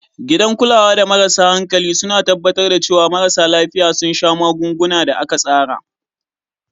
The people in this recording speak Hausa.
Gidan kulawa da marasa hankali suna tabbatar da cewa marasa lafiya sun sha magungunan da aka tsara.